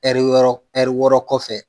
ɛri yɔɔrɔ ɛri wɔɔrɔ kɔfɛ